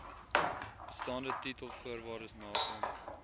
bestaande titelvoorwaardes nakom